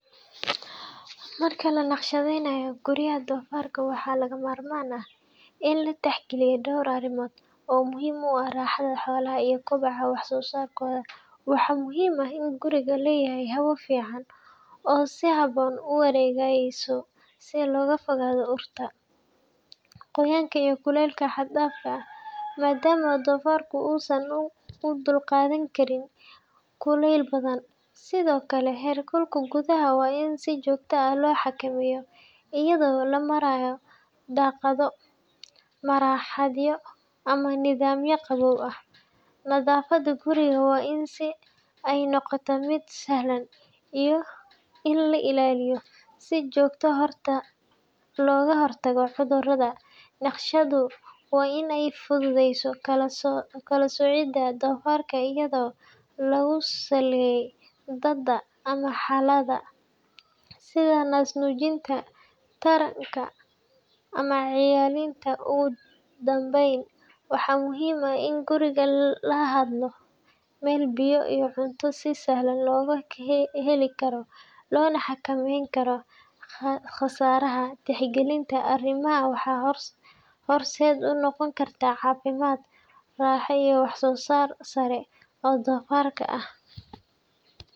Marka la naqshadaynayo guryaha doofarka, waxaa lagama maarmaan ah in la tixgeliyo dhowr arrimood oo muhiim u ah raaxada xoolaha iyo koboca wax soo saarkooda. Waxaa muhiim ah in gurigu leeyahay hawo fiican oo si habboon u wareegaysa si looga fogaado urta, qoyaanka iyo kulaylka xad dhaafka ah, maadaama doofarku uusan u dulqaadan karin kulayl badan. Sidoo kale, heerkulka gudaha waa in si joogto ah loo xakameeyaa iyadoo loo marayo daaqado, marawaxado ama nidaam qaboojin ah. Nadaafadda guriga waa in ay noqotaa mid sahlan in la ilaaliyo, si looga hortago cudurrada. Naqshaddu waa in ay fududeyso kala-soocidda doofarka iyadoo lagu saleeyo da'da ama xaaladda, sida naas-nuujinta, taranka, ama cayilinta. Ugu dambayn, waxaa muhiim ah in gurigu lahaado meel biyo iyo cunto si sahlan loogu heli karo, loona xakameeyo khasaaraha. Tixgelinta arrimahan waxay horseed u noqon kartaa caafimaad, raaxo iyo wax-soo-saar sare oo doofarka ah.